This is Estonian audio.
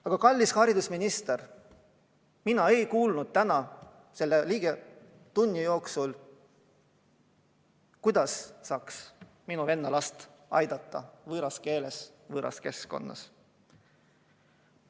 Aga, kallis haridusminister, mina ei kuulnud täna selle ligi tunni jooksul, kuidas saaks minu venna last aidata, kui ta õpib võõras keeles, võõras keskkonnas.